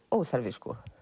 óþarfi